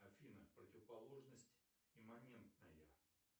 афина противоположность имманентная